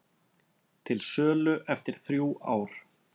Til sölu eftir þrjú ár